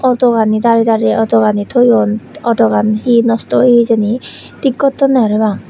auto gani dari dari auto gani toyon auto gani he nosto oye hijeni tik gottonne parapang.